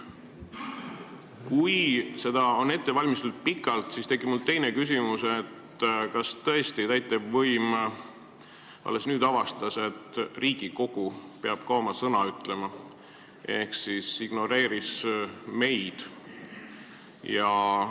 Kui seda on pikalt ette valmistatud, siis tekib mul teine küsimus: kas tõesti täitevvõim alles nüüd avastas, et Riigikogu peab ka oma sõna ütlema, ehk ignoreeris meid?